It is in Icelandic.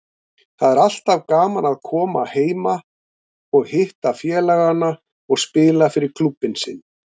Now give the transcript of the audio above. Það er alltaf gaman að koma heima og hitta félagana og spila fyrir klúbbinn sinn.